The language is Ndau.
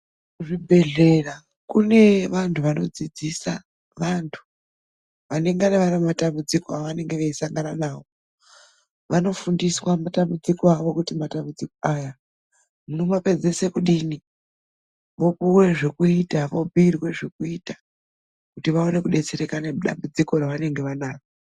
Zvibhehlera kune vantu vanodzidzisa vantu vanengane vari mumatambidziko avanenge veisangana nawo. Vanofundiswa matambudziko awo kuti matambudziko aya munomapedzise kudini vopuwe zvekuita, vobhuirwa zvekuita kuti vaone kudetsereka nedambudziko ravanenge vanaro.